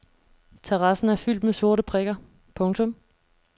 Terrassen er fyldt med sorte prikker. punktum